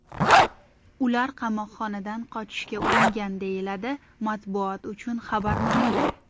Ular qamoqxonadan qochishga uringan”, deyiladi matbuot uchun xabarnomada.